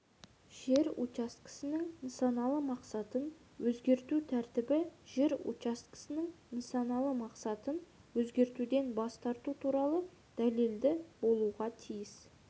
жер учаскесінің нысаналы мақсатын өзгерту тәртібі жер учаскесінің нысаналы мақсатын өзгертуден бас тарту дәлелді болуға тиіс